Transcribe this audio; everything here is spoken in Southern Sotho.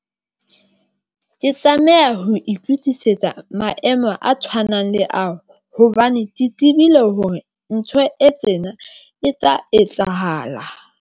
Ke tlameha ho itukisetsa maemo a tshwanang le ao, hobane ke tibile hore ntho e tsena e tla etsahala.